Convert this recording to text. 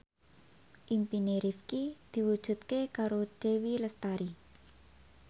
impine Rifqi diwujudke karo Dewi Lestari